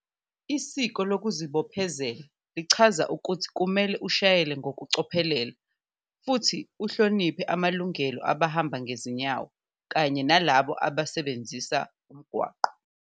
Isiko lokuzibophezelo lichaza ukuthi kumele ushayele ngokucophelela futhi uhloniphe amalungelo abahamba ngezinyawo kanye nalabo abasebenzisa umgwaqo.